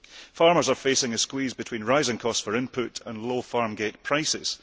Farmers are facing a squeeze between rising costs for input and low farm gate prices.